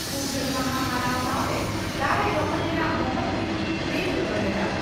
ᱯᱷᱩᱨᱜᱟᱹᱞ ᱢᱟᱦᱟᱸ ᱢᱟᱱᱟᱣ ᱥᱟᱣᱛᱮ ᱫᱟᱨᱮ ᱨᱚᱦᱚᱭ ᱨᱮᱱᱟᱜ ᱢᱚᱦᱚᱛ ᱠᱤᱱ ᱞᱟᱹᱭ ᱥᱚᱫᱚᱨ ᱞᱮᱫᱼᱟ ᱾